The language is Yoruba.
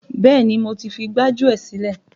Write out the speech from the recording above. Bẹ́ẹ̀ni, mo ti fi gbájúẹ̀ sílẹ̀.